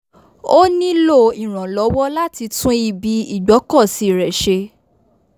ó nílò ìrànlọ́wọ́ láti tún ibi ìgbọ́kọ̀sí rẹ̀ ṣe